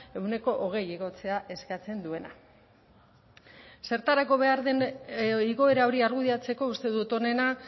ehuneko hogei igotzea eskatzen duena zertarako behar den igoera hori argudiatzeko uste dut onena